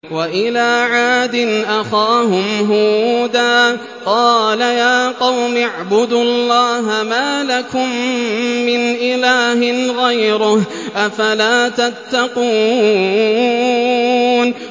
۞ وَإِلَىٰ عَادٍ أَخَاهُمْ هُودًا ۗ قَالَ يَا قَوْمِ اعْبُدُوا اللَّهَ مَا لَكُم مِّنْ إِلَٰهٍ غَيْرُهُ ۚ أَفَلَا تَتَّقُونَ